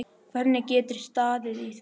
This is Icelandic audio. Hvernig getur staðið á því?